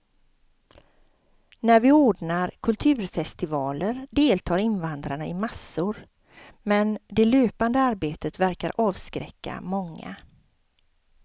När vi ordnar kulturfestivaler deltar invandrarna i massor, men det löpande arbetet verkar avskräcka många.